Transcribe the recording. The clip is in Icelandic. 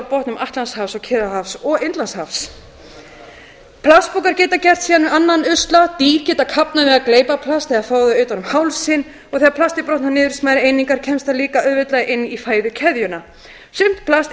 grunnsjávarbotnum atlantshafs og kyrrahafs og indlandshafs plastpokar geta gert síðan annan usla dýr geta kafnað við að gleypa plast eða fá það utan um hálsinn og þegar plastið brotnar niður í smærri einingar kemst það líka auðveldlega inn í fæðukeðjuna sumt plast